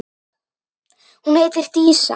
Hún heitir Dísa.